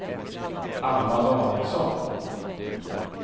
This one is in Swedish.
Alva Danielsson